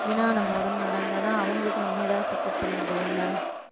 ஏன்னா நம்ம உடம்பு நல்லா இருந்தாதான் அவங்களுக்கு நம்ம ஏதாவது support பண்ண முடியும்ல